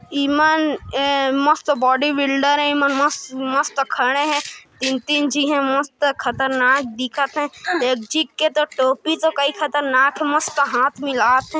इ मन ए मस्त बॉडी बिल्डर हे मस्त मस्त खड़े हे तीन तीन झी हे मस्त खतरनाक दिखात थे एक झी के टोपी तो कई खतरनाक हे हाथ मिलात थे।